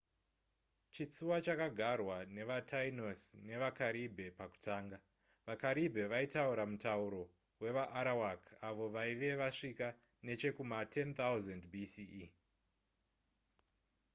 chitsuwa chakagarwa nevatainos nevakaribhe pakutanga vakaribhe vaitaura mutauro wevaarawak avo vaive vasvika nechekuma10,000 bce